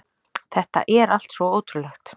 Þetta er allt svo ótrúlegt